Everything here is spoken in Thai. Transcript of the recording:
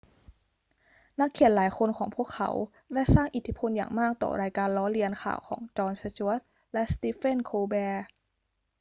นักเขียนหลายคนของพวกเขาได้สร้างอิทธิพลอย่างมากต่อรายการล้อเลียนข่าวของจอน สจ๊วต และสตีเฟน โคลแบร์